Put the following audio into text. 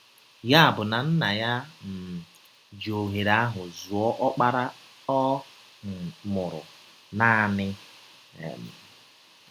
Ya bụ na Nna ya um ji ọhere ahụ zụọ Ọkpara Ọ um mụrụ naanị um.